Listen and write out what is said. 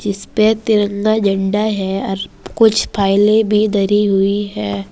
जिसपे तिरंगा झंडा है और कुछ फाइलें भी धरी हुई हैं।